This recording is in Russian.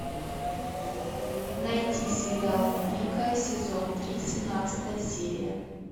найти сериал новенькая сезон три семнадцатая серия